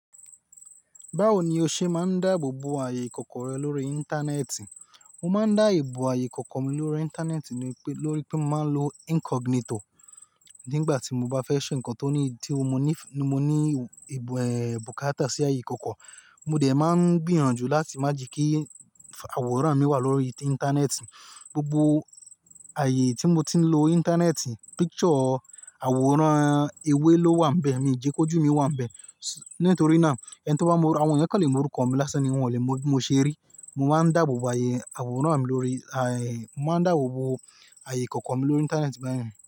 Báwo ni o ṣe máa ń dáàbò bo ààyè ìkọ̀kọ̀ rẹ lórí Íńtánẹ́ẹ̀tì? Mo máa ń dáàbò bo ààyè ìkọ̀kọ̀ mi lórí Íńtánẹ́ẹ̀tì lórí pé mo máa ń lo incognito. Nígbà tí mo bá fẹ́ ṣe nǹkan tó ní, tí mo ní, mo ní èèè bukata sí ààyè ìkọ̀kọ̀, mo dẹ̀ máa ń gbìyànjú láti má jíkí àwòrán mi wà lórí Íńtánẹ́ẹ̀tì. Gbogbo ààyè tí mo ti ń lo Íńtánẹ́ẹ̀tì, picture, àwòrán, ewé ló wà níbẹ̀, mi jẹ kí ojú mi wà níbẹ̀. Nítorí náà, ẹni tó bá mọ, àwọn ìyẹn kò lè mọ orúkọ mi lásán ni wọ́n ò lè mọ bí mo ṣe rí. Mo máa ń dáàbò bo ààyè àwòrán mi lórí ààyè, mo máa ń dáàbò bo ààyè ìkọ̀kọ̀ mi lórí Íńtánẹ́ẹ̀tì bẹ́ẹ̀.